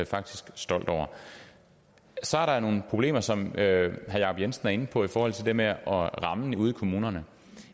faktisk stolt over så er der nogle problemer som herre jacob jensen er inde på i forhold til det med rammen ude i kommunerne